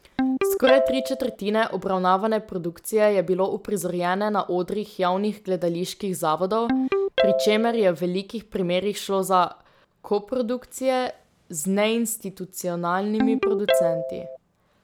Skoraj tri četrtine obravnavane produkcije je bilo uprizorjene na odrih javnih gledaliških zavodov, pri čemer je v velikih primerih šlo za koprodukcije z neinstitucionalnimi producenti.